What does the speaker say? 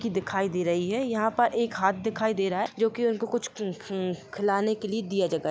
की दिखाई दे रही है यहाँ पर एक हाथ दिखाई दे रहा है जो की उनको कुछ ख्ह्ह-खिलाने के लिए दिया जा--